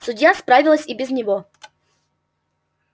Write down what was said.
судья справилась и без него